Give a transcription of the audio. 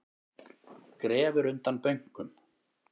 Grefur undan bönkum